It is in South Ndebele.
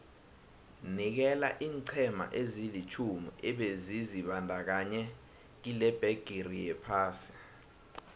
nikela iinqhema ezilitjhumi ebezizibandakanye kilebhigiri yephasi